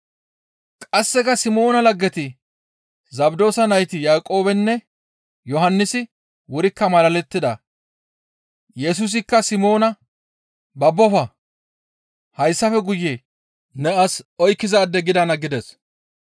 Qasseka Simoona laggeti Zabdoosa nayti Yaaqoobeynne Yohannisi wurikka malalettida. Yesusikka Simoona, «Babbofa! Hayssafe guye ne as oykkizaade gidana» gides.